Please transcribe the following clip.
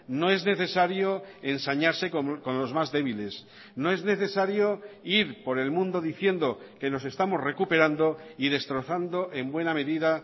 no es necesario ensañarse con los más débiles no es necesario ir por el mundo diciendo que nos estamos recuperando y destrozando en buena medida